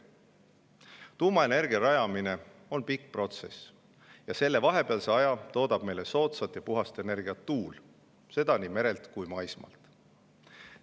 Tuuma rajamine on pikk protsess ja vahepealsel ajal toodab meile soodsat ja puhast energiat tuul, seda nii merel kui maismaal.